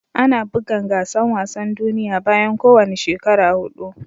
Ana bugan gasan wasan duniyya bayan ko wani shekara hudu.